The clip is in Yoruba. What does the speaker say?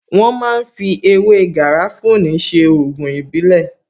Wón ma ń fi ewé Garafuni ṣe Ògùn ìbílẹ̀